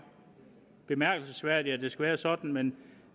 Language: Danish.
bemærkelsesværdigt at det skal være sådan men